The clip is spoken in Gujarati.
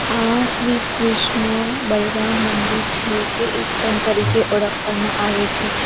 આ શ્રી કૃષ્ણ બલરામ મંદિર છે જે ઇસ્કોન તરીકે ઓળખવામાં આવે છે.